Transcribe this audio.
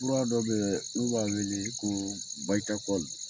Fura dɔ be yen n'u b'a wele ko